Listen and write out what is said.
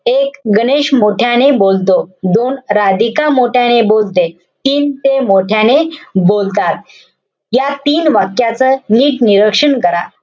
एक, गणेश मोठ्याने बोलतो. दोन, राधिका मोठ्याने बोलते. तीन, ते मोठ्याने बोलतात. या तीन वाक्याच नीट निरक्षण करा.